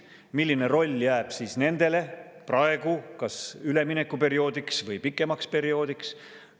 Milline roll jääb nendele praegu, kas üleminekuperioodiks või pikemaks perioodiks?